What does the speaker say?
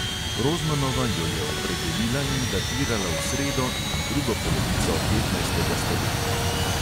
Rozmanova jo je opredelila in datirala v sredo in drugo polovico petnajstega stoletja.